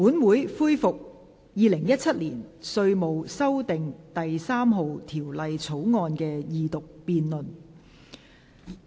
本會恢復《2017年稅務條例草案》的二讀辯論。